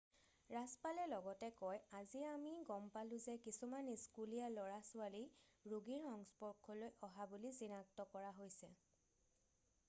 "ৰাজ্যপালে লগতে কয় "আজি আমি গম পালোঁ যে কিছুমান স্কুলীয়া ল'ৰা ছোৱালী ৰোগীৰ সংস্পৰ্শলৈ অহা বুলি চিনাক্ত কৰা হৈছে।""